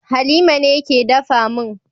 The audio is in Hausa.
Halima ne ke dafa min